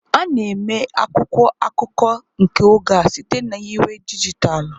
A na-eme akwụkwọ akụkọ nke oge a site na nyiwe dijitalụ.